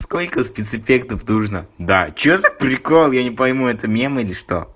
сколько спецэффектов нужно да что за прикол я не пойму это мем или что